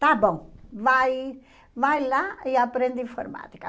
Está bom, vai vai lá e aprende informática.